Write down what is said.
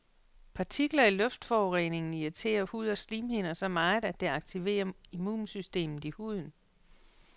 Partikler i luftforureningen irriterer hud og slimhinder så meget, at det aktiverer immunsystemet i huden.